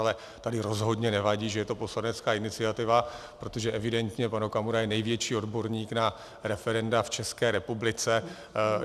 Ale tady rozhodně nevadí, že je to poslanecká iniciativa, protože evidentně pan Okamura je největší odborník na referenda v České republice.